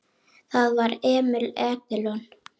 Það var Emil Edilon.